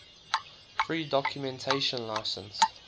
free documentation license